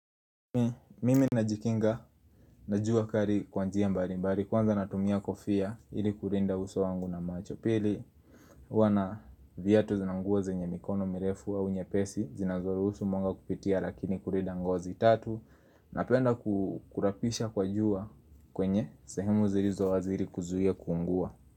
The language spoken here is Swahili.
Mimi najikinga, najua kali kwa njia mbalimbali, kwanza natumia kofia ili kulinda uso wangu na macho pili kua na viatu na nguo zenye mikono mirefu au nyepesi, zinazoruhusu mwanga kupitia lakini kulinda ngozi tatu Napenda kurapisha kwa jua kwenye sehemu zilizo wazi ili kuzuia kuungua.